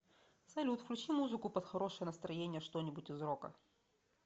салют включи музыку под хорошее настроение что нибудь из рока